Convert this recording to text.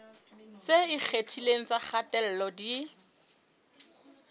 tse ikgethileng tsa kgatello di